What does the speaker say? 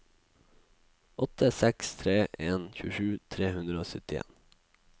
åtte seks tre en tjuesju tre hundre og syttien